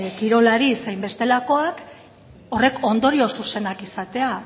kirolari zein bestelakoak horrek ondorio zuzenak izatea